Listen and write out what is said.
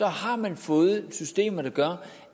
har man fået systemer der gør